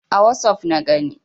A wossof na gani.